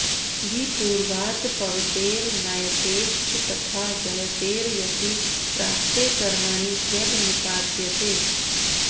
विपूर्वात् पवतेर् नयतेश्च तथा जयतेर् यति प्राप्ते कर्मणि क्यब् निपात्यते